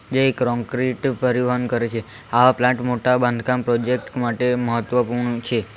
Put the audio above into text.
જે ક્રોંક્રીટ પરિવહન કરે છે આવા પ્લાન્ટ મોટા બાંધકામ પ્રોજેક્ટ માટે મહત્વપૂર્ણ છે.